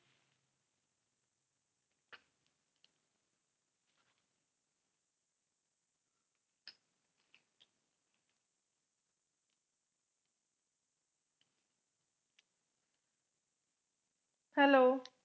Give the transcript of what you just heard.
hello